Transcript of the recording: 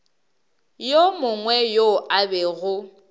yo mongwe yo a bego